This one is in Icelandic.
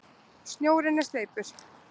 Snjórinn er sleipur!